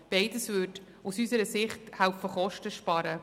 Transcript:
Beides würde unseres Erachtens helfen, Kosten zu sparen.